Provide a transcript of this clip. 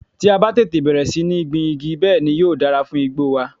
Tí a bá tètè bẹ̀rẹ̀ sí ní gbin igi, bẹ́ẹ̀ ni yóò dára fún igbó wa.